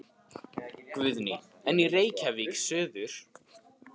Guðný: En í Reykjavík suður?